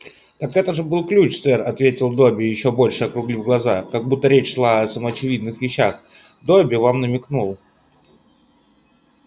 так это же был ключ сэр ответил добби ещё больше округлив глаза как будто речь шла о самоочевидных вещах добби вам намекнул